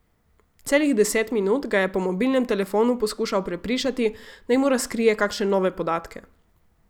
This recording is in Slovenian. Celih deset minut ga je po mobilnem telefonu poskušal prepričati, naj mu razkrije kakšne nove podatke.